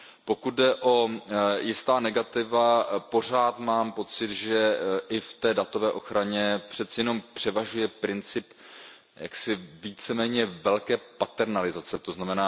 Pokud jde o jistá negativa, pořád mám pocit, že i v té datové ochraně přeci jenom převažuje princip jaksi víceméně velké paternalizace, tzn.